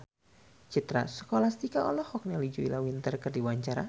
Citra Scholastika olohok ningali Julia Winter keur diwawancara